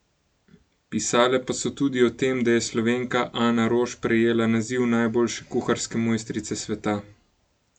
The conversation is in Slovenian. Pisale pa so tudi o tem, da je Slovenka Ana Roš prejela naziv najboljše kuharske mojstrice sveta.